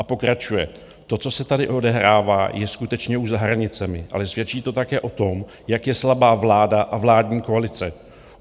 A pokračuje: To, co se tady odehrává, je skutečně už za hranicemi, ale svědčí to také o tom, jak je slabá vláda a vládní koalice.